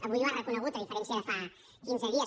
avui ho ha reconegut a diferència de fa quinze dies